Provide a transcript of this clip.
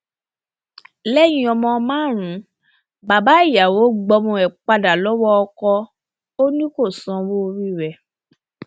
lẹyìn ọmọ márùnún bàbá ìyàwó gbọmọ ẹ padà lọwọ ọkọ ò ní kó sanwó orí ẹ